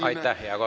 Aitäh, hea kolleeg!